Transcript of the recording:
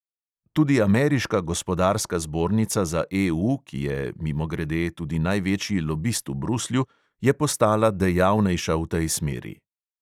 Tudi ameriška gospodarska zbornica za EU, ki je, mimogrede, tudi največji lobist v bruslju, je postala dejavnejša v tej smeri.